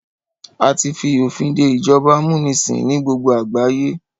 A tí fi òfin dé ìjọba amúnisìn ní gbogbo àgbáyé.